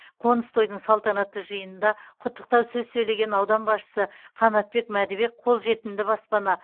қоныс тойдың салтанатты жиынында құттықтау сөз сөйлеген аудан басшысы қанатбек мәдібек қолжетімді баспана